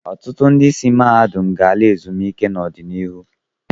Ọtụtụ ndị isi mahadum ga-ala ezumike nka n'ọdịnihu.